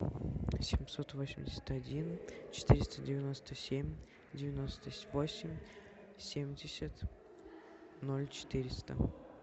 семьсот восемьдесят один четыреста девяносто семь девяносто восемь семьдесят ноль четыреста